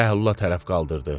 Bəhlula tərəf qaldırdı.